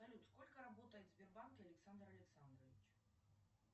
салют сколько работает в сбербанке александр александрович